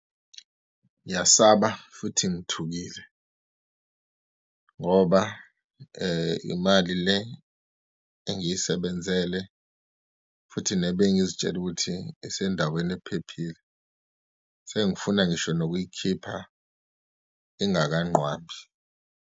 Ngiyasaba futhi ngithukile ngoba imali le engiyisebenzele futhi nebengizitshela ukuthi isendaweni ephephile. Sengifuna ngisho nokuyikhipha ingakanqwabi.